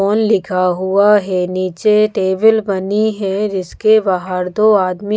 on लिखा हुआ है नीचे टेबल बनी है जिसके बाहर दो आदमी--